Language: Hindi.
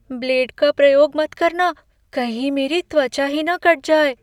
ब्लेड का प्रयोग मत करना। कहीं मेरी त्वचा ही न कट जाए।